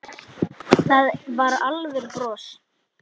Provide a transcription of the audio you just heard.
Það var alvöru bros.